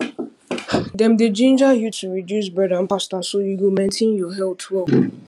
dem dey ginger you to reduce bread and pasta so you go maintain your health well